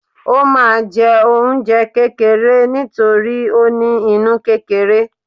o ma jẹ oúnjẹ kekere nítorí o ní inú kerere